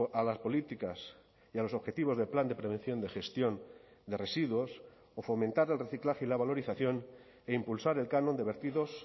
a las políticas y a los objetivos del plan de prevención de gestión de residuos o fomentar el reciclaje y la valorización e impulsar el canon de vertidos